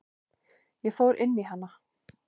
Ég fór inn í hana.